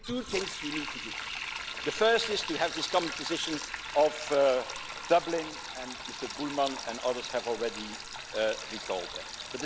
I think there are two things you need to do. The first is to have this common position of Dublin Mr Bullmann and others have already recalled this.